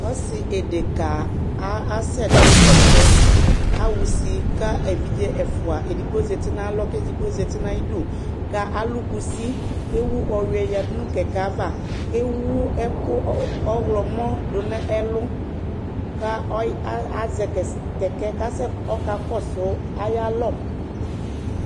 Ɔsi édeka asɛ du ƙɛkɛ, axusi ka évidjé ɛfua, édigbo zati na alɔ ka édigbo zati nayidu, ka lu kusi, ké wu ɔyuɛ yadunu kɛkɛ ava kéwu ɛku ɔwlɔ mɔ du nu ɛlu Kazɛ kɛkɛ kɔka kɔsu ayalɔ